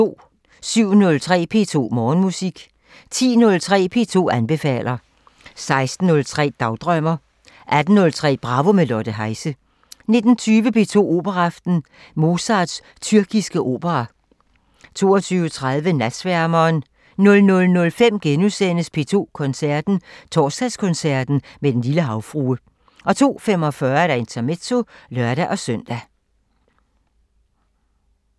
07:03: P2 Morgenmusik 10:03: P2 anbefaler 16:03: Dagdrømmer 18:03: Bravo – med Lotte Heise 19:20: P2 Operaaften – Mozarts tyrkiske opera 22:30: Natsværmeren 00:05: P2 Koncerten – Torsdagskoncert med Den lille Havfrue * 02:45: Intermezzo (lør-søn)